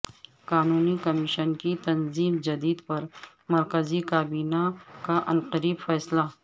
قانون کمیشن کی تنظیم جدید پر مرکزی کابینہ کا عنقریب فیصلہ